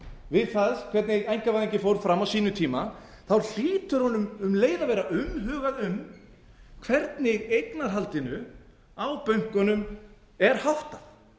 við það hvernig einkavæðingin fór fram á sínum tíma hlýtur honum um leið að vera umhugað um hvernig eignarhaldinu á bönkunum er háttað